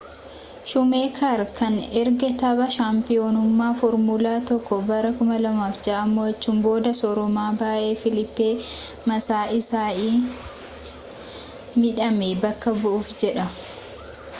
shuumeeker kan erga tapha shaampiyoonummaa foormulaa 1 bara 2006 mo'achuun booda sooroma ba'ee filiippee maasaa isai midhame bakka bu'uuf jedha